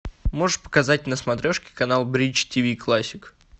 можешь показать на смотрешке канал бридж ти ви классик